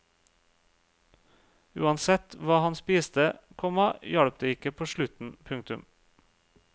Uansett hva han spiste, komma hjalp det ikke på sulten. punktum